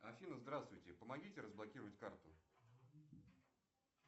афина здравствуйте помогите разблокировать карту